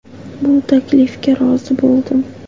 Bu taklifga rozi bo‘ldim.